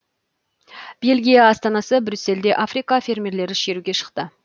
бельгия астанасы брюссельде африка фермерлері шеруге шықты